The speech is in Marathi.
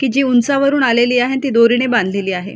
कि जी उंचावरून आलेली आहे अन ती दोरीने बांधलेली आहे.